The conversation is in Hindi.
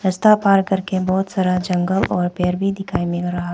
रस्ता पार करके बहुत सारा जंगल और पेड़ भी दिखाई मिल रहा।